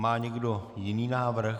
Má někdo jiný návrh?